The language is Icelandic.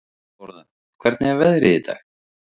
Þórða, hvernig er veðrið í dag?